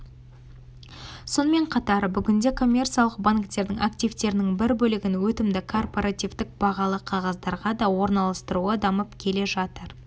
сонымен қатар бүгінде коммерциялық банктердің активтерінің бір бөлігін өтімді корпоративтік бағалы қағаздарға да орналастыруы дамып келе жатыр